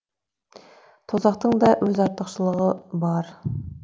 тозақтың да өз артықшылығы бар